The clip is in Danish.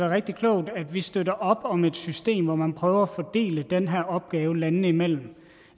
rigtig klogt at vi støtter op om et system hvor man prøver at fordele den her opgave landene imellem